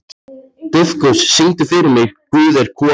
Dufgus, syngdu fyrir mig „Guð er kona“.